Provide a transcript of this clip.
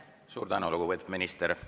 Suur tänu, lugupeetud minister!